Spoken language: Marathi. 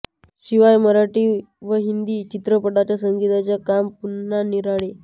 शिवाय मराठी व हिंदी चित्रपटांच्या संगीताचे काम पुन्हा निराळे